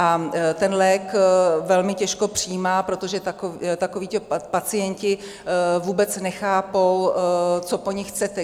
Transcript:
A ten lék velmi těžko přijímá, protože takovíto pacienti vůbec nechápou, co po nich chcete.